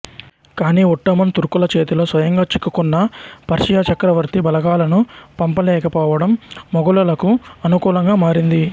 కానీ ఒట్టోమన్ తుర్కుల చేతిలో స్వయంగా చిక్కుకున్న పర్షియా చక్రవర్తి బలగాలను పంపలేక పోవడం మొఘలులకు అనుకూలంగా మారింది